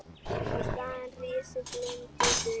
Í staðinn rísi blönduð byggð.